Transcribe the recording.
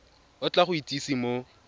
o tla go itsise mo